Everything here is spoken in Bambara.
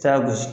Taa gosi